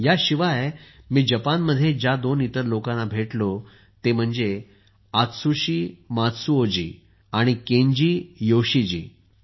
याशिवाय मी जपानमध्ये ज्या दोन इतर लोकांना भेटलो ते म्हणजे आत्सुशी मात्सुओजी आणि केंजी योशीजी